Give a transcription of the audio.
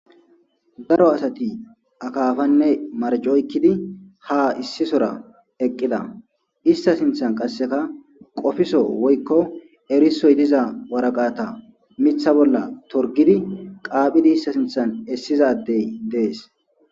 Daro asati akaafanne marcoykkidi ha issisora eqqida ista sinthan qasseka qofiso woykko erisoy diza waraqata mitha bolla torgidi qaaphidi ista sinthan essizadey dees.